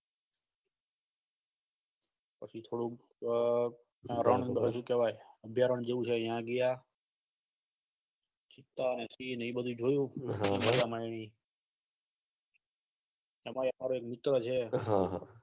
પછી થોડુક અ અભ્યારણ જેવું છે ત્યાં ગયા છતાં માછલીને એ બધું જોયું મજા ના આયી અતારે અમારે મિત્રો છે